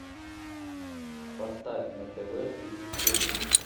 поставь на тв приключения